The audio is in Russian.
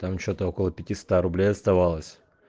там что-то около пятиста рублей оставалось